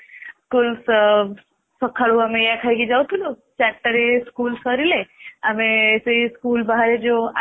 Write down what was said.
school ସକାଳୁ ଆମେ ଏଇଆ ଖାଇକି ଯାଉଥିଲୁ ଚାରିଟାରେ school ସାରିଲେ ଆମେ school ଯୋଉ ଯୋଉ